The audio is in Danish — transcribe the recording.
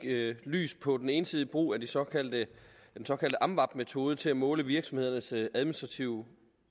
lys på den ensidige brug af den såkaldte amvab metode til at måle virksomhedernes administrative